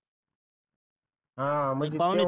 ह म्हणजे